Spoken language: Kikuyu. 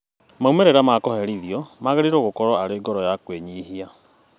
Maumĩrĩra ma kũherithio magĩrĩirwo gũkorwo arĩ ngoro ya kwĩnyihia